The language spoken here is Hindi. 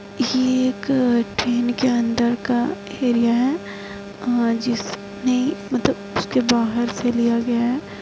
ये एक ट्रेन के अंदर का एरिया है अ जिसने मतलब उसके बाहर से लिया गया है ।